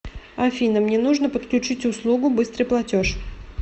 афина мне нужно подключить услугу быстрый платеж